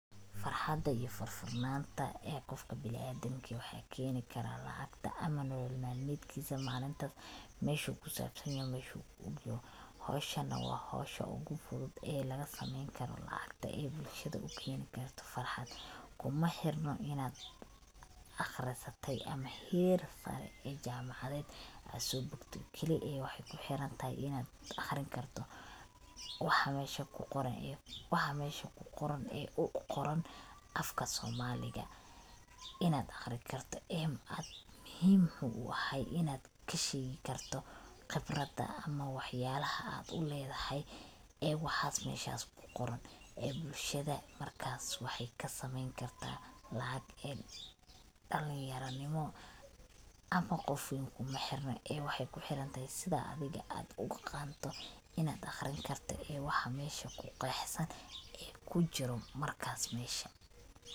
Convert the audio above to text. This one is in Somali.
iyo furfurnanta qofka bini adamka waxaa keeni karaa lacagta camal oo nolol maalmedkisa malinta meshu kusabsan yoho meshuku ogyoho howshan na waa howsha ogu fudud ee laga sameeyni karo lacagta ee bulshada ukeeni karto farxad, kuma xirna inad aqrisate ama heer saare ee jamacadeed ad soo bogte keli ee waxay kuxirantahay inad aqrin karto waxa mesha kuqoran ee uqoran afka somaaliga I ad aqrin karta muhim wuxuu u ahay inad kasheegi karto qibrada ama wax yalaha ad uledahay ee waxas meshas kuqoran ee bulshada markaas waxay kasameeyni karta lacag ee dhalin yaro nimo ama qof weyn kuma xirno ee waxay kuxirantahay sida adiga ad u aqanto inad aqrin karto ee waxa mesha kuqexsan ee kujiro markaas mesha